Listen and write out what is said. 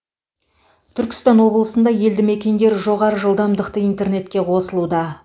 түркістан облысында елдімекендер жоғары жылдамдықты интернетке қосылуда